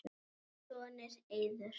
Þinn sonur, Eiður.